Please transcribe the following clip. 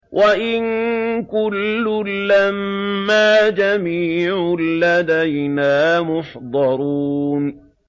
وَإِن كُلٌّ لَّمَّا جَمِيعٌ لَّدَيْنَا مُحْضَرُونَ